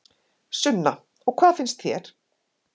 Sunna: Og hvað finnst þér?